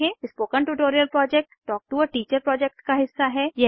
spoken tutorial project talk to a teacher project का हिस्सा है